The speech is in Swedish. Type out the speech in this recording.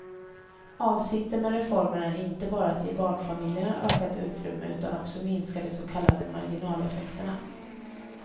Avsikten med reformen är inte bara att ge barnfamiljerna ökat utrymme utan också minska de så kallade marginaleffekterna.